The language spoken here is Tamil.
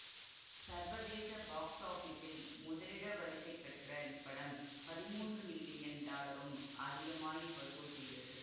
சர்வதேச பாக்ஸ் ஆபிஸில் முதலிட வரிசை பெற்ற இப்படம் பதிமூன்று மில்லியன் டாலருக்கும் அதிகமாய் வசூல் செய்தது